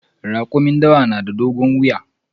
Rakumin dawa na da dogon wuya.